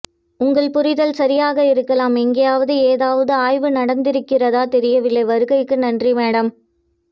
உங்கள் புரிதல் சரியாக இருக்கலாம் எங்காவது ஏதாவது ஆய்வு நடந்திருக்கிறதா தெரியவில்லை வருகைக்கு நன்றி மேம்